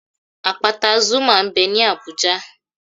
Àpáta Zuma m bẹ ní Abùjá